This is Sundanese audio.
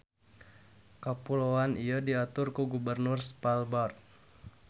Kapuloan ieu diatur ku Gubernur Svalbard.